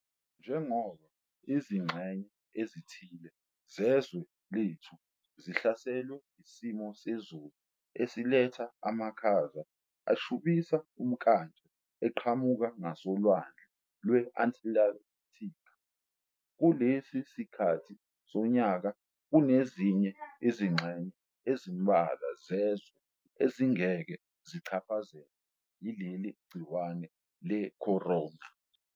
Njengoba izingxenye ezithile zezwe lethu zihlaselwe isimo sezulu esiletha amakhaza ashubisa umnkantsha eqhamuka ngasoLwandle lwe-Antilathikhi kulesi sikhathi sonyaka, kunezinye izingxenye ezimbalwa zezwe ezingeke zichaphazelwe yileli gciwane le-corona.